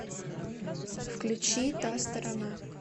включи та сторона